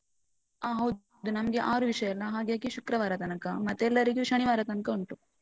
ಆ ಹೌದು. ನಮ್ಗೆ ಆರು ವಿಷ್ಯ ಅಲ್ಲ ಹಾಗಾಗಿ ಶುಕ್ರವಾರ ತನಕ. ಮತ್ತೆ ಎಲ್ಲರಿಗೂ ಶನಿವಾರ ತಂಕ ಉಂಟು.